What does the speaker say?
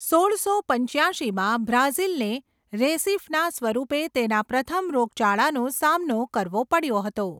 સોળસો પંચ્યાશીમાં, બ્રાઝિલને રેસિફના સ્વરૂપે તેના પ્રથમ રોગચાળાનો સામનો કરવો પડ્યો હતો.